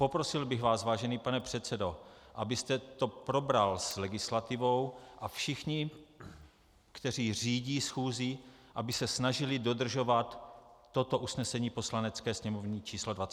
Poprosil bych vás, vážený pane předsedo, abyste to probral s legislativou, a všichni, kteří řídí schůzi, aby se snažili dodržovat toto usnesení Poslanecké sněmovny číslo 24. Děkuji.